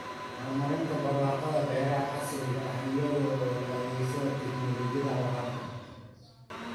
Horumarinta barwaaqada beeraha casriga ah iyadoo la adeegsanayo tignoolajiyada waraabka.